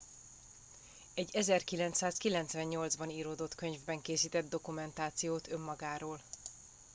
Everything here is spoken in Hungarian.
egy 1998 ban íródott könyvben készített dokumentációt önmagáról